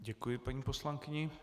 Děkuji paní poslankyni.